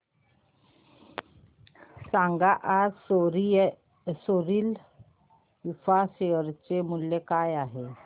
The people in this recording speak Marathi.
सांगा आज सोरिल इंफ्रा शेअर चे मूल्य काय आहे